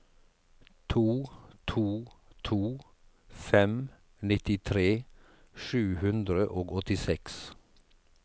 to to to fem nittitre sju hundre og åttiseks